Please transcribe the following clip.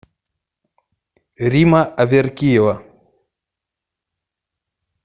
римма аверкиева